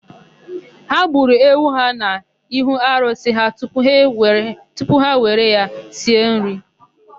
Ha gburu ewu ha n'ihu arụsị ha tupu ha were ya sie nri.